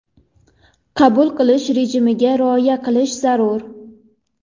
Qabul qilish rejimiga rioya qilish zarur.